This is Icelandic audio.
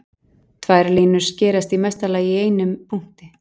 Tvær línur skerast í mesta lagi í einum punkti.